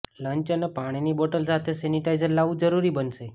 lunch અને પાણીની bottle સાથે સેનિટાઇઝર લાવવું જરૂરી બનશે